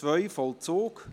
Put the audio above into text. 3.2 Vollzug